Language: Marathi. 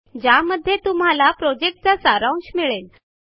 ज्यामध्ये तुम्हाला प्रॉजेक्टचा सारांश मिळेल